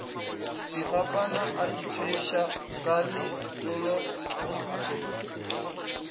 dikgapana a ithweša ka letolo